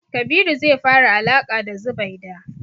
Kabiru zai fara alaƙa da Zubaida.